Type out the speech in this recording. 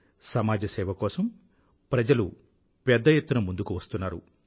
సమాజ సేవ కోసం ప్రజలు పెద్ద ఎత్తున ముందుకు వస్తున్నారు